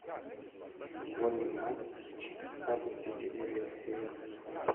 футбольный матч апл сити и эвертона